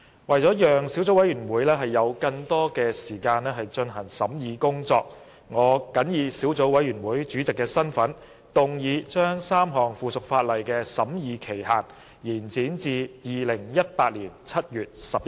為了讓小組委員會有更多時間進行審議工作，我謹以小組委員會主席的身份，動議將3項附屬法例的審議期限延展至2018年7月11日。